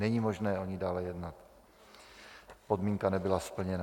Není možné o ní dále jednat, podmínka nebyla splněna.